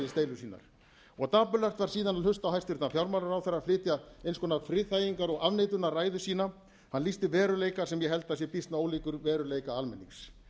deilur sínar dapurlegast var síðan að hlusta á hæstvirtan fjármálaráðherra flytja eins konar friðþægingar og afneitunarræðu efna hann lýsti veruleika sem ég held að sé býsna ólíkur veruleika almennings